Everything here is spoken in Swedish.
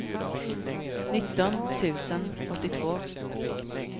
nitton tusen åttiotvå